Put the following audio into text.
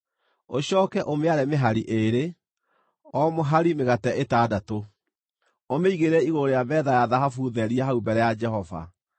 Ũcooke ũmĩare mĩhari ĩĩrĩ, o mũhari mĩgate ĩtandatũ, ũmĩigĩrĩre igũrũ rĩa metha ya thahabu therie hau mbere ya Jehova.